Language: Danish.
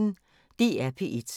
DR P1